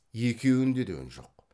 екеуінде де үн жоқ